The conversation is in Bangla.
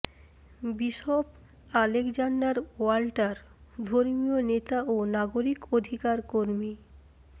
বিশপ আলেকজান্ডার ওয়াল্টারঃ ধর্মীয় নেতা ও নাগরিক অধিকার কর্মী